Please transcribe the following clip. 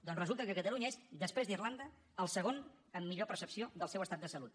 doncs resulta que catalunya és després d’irlanda el segon en millor percepció del seu estat de salut